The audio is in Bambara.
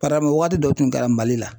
Para waati dɔ tun kɛra Mali la.